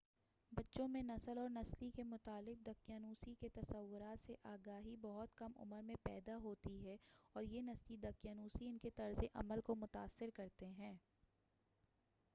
بچوں میں نسل اور نسلی کے متعلق دقیانوسی کے تصورات سے آگاھی بہت کم عمر میں پیدا ہوتی ہے اور یہ نسلی دقیانوسی انکے طرز عمل کو متاثر کرتے ہیں